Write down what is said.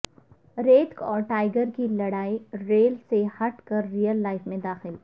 ریتک اور ٹائیگر کی لڑائی ریل سے ہٹ کر ریئل لائف میں داخل